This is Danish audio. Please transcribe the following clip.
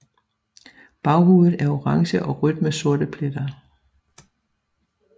Baghovedet er orange og rødt med sorte pletter